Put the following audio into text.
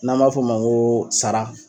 N'an b'a f'ɔ ma ŋoo sara